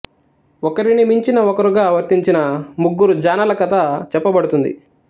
ఒకరిని మించిన ఒకరుగా వర్తించిన ముగ్గురు జాణల కథ చెప్పబడుతుంది